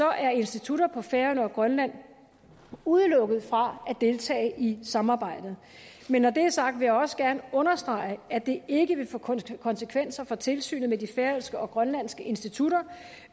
er institutter på færøerne og i grønland udelukket fra at deltage i samarbejdet men når det er sagt vil jeg også gerne understrege at det ikke vil få konsekvenser for tilsynet med de færøske og grønlandske institutter